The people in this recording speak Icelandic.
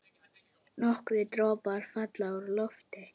Nokkrir dropar falla úr lofti.